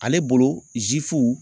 Ale bolo